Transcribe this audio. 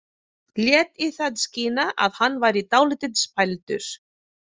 Lét í það skína að hann væri dálítið spældur.